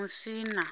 musina